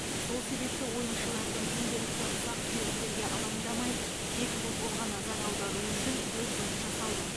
сол себепті ойыншылардың күнделікті ұсақ түйектерге алаңдамай тек футболға назар аударуы үшін көп жұмыс жасалды